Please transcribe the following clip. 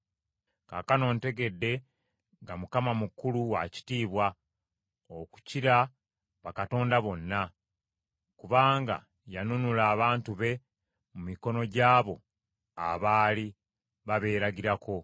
Kaakano ntegedde nga Mukama mukulu wa kitiibwa okukira bakatonda bonna, kubanga yanunula abantu be mu mikono gyabo abaali babeeragirako.”